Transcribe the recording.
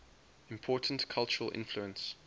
important cultural influence